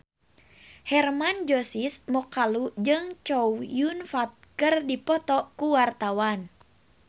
Hermann Josis Mokalu jeung Chow Yun Fat keur dipoto ku wartawan